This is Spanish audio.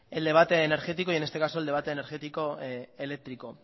el debate energético y en este caso el debate energético eléctrico